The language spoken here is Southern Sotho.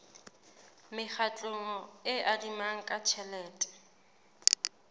mekgatlo e adimanang ka tjhelete